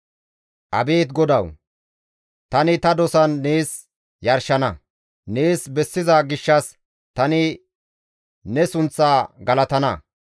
Abeet GODAWU! Tani ta dosan nees yarshana; nees bessiza gishshas tani ne sunththaa galatana.